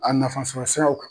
A nafa sɔrɔ sraiw kan.